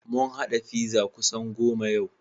Mun haɗa pizza kusan goda goma yau.